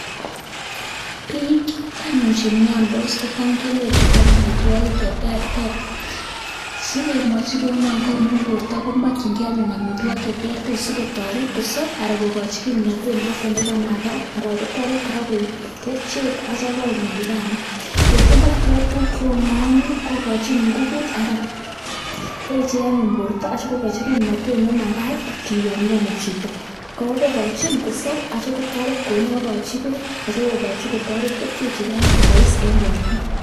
Bik anyun chemiandos kelchin koam amituakik chetertere si kemwochi kounon ko borto ko makienge amituakik cheterter sikotaret kosab anan kokachi kimnatet noton nekamagat Yoon komakienge kouu mayainik ih teche anyun borto asikikochi kimnatet nemagaat yamiani chito kokochin kosab akotoret kokochi beek asikotoret kolugui kerichek chugan kobois en borto